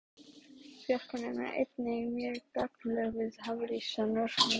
Fjarkönnun er einnig mjög gagnleg við hafísrannsóknir.